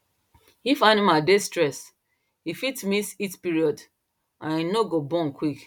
if animal dey stressed e fit miss heat period and no go born quick